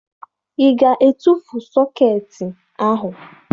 Ị ga-etufu sọkeetị ahụ?